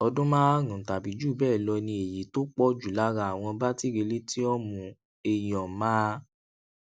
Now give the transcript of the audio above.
ọdún márùnún tàbí jù béè lọ ni èyí tó pò jù lára àwọn batiri lithiumion máa